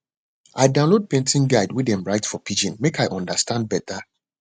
i download planting guide wey dem write for pidgin make i understand better